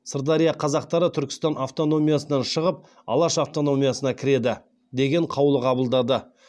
сырдария қазақтары түркістан автономиясынан шығып алаш автономиясына кіреді деген қаулы қабылдады